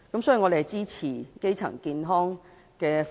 所以，我們支持發展基層醫療服務。